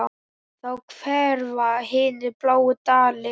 Þá hverfa hinir bláu dalir.